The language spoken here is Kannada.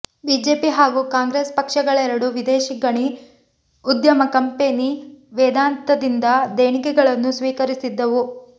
ಬಿಜೆಪಿ ಹಾಗೂ ಕಾಂಗ್ರೆಸ್ ಪಕ್ಷಗಳೆರಡೂ ವಿದೇಶಿ ಗಣಿ ಉದ್ಯಮ ಕಂಪೆನಿ ವೇದಾಂತದಿಂದ ದೇಣಿಗೆಗಳನ್ನು ಸ್ವೀಕರಿಸಿದ್ದವು